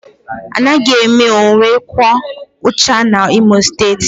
Anaghị eme onye kwuo uche ya N'Imo steeti